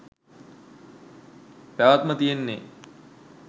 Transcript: පැවැත්ම තියෙන්නේ